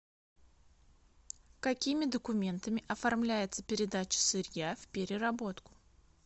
какими документами оформляется передача сырья в переработку